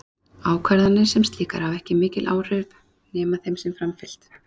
Ákvarðanir sem slíkar hafa ekki mikil áhrif nema þeim sé framfylgt.